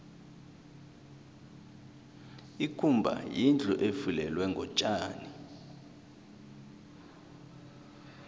ikumba yindlu efulelwe ngotjani